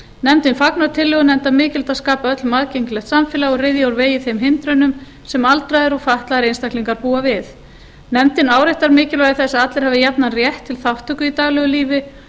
nefndin fagnar tillögunni enda mikilvægt að skapa öllum aðgengilegt samfélag og ryðja úr vegi þeim hindrunum sem aldraðir og fatlaðir einstaklingar búa við nefndin áréttar mikilvægi þess að allir hafi jafnan rétt til þátttöku í daglegu lífi